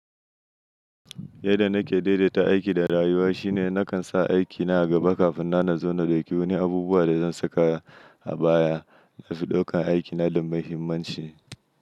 Yadda nake daidaita aiki da rayuwa shine nakan sa aikina a gaba kafin na nazona da dauki wani abubuwa da zan saka a baya da su ɗaukan aikina da muhimmanci.